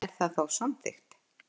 Er það þá samþykkt?